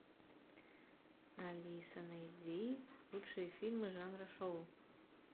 алиса найди лучшие фильмы жанра шоу